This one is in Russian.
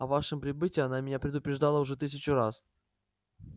о вашем прибытии она меня предупреждала уже тысячу раз